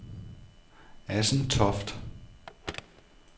Assentoft